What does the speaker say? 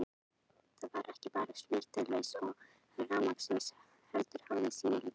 Það var ekki bara snarvitlaust veður og rafmagnslaust heldur hafði síminn líka bilað.